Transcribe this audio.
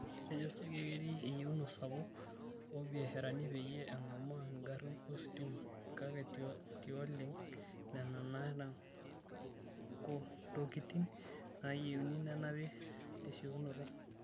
Etejo Chege ketii eyieuna sapuk oobiasharani peyie engamaa ingarin ositima, kake tioleng nena naata ntokitin nayieuni nenapi tesiokinoto.